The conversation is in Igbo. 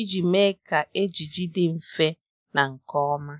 iji mee kà ejiji dị mfe na nke ọma.